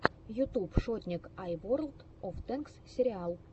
ютуб шотник ай ворлд оф тэнкс сериал